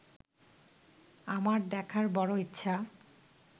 আমার দেখার বড় ইচ্ছা